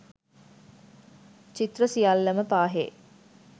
චිත්‍ර සියල්ලම පාහේ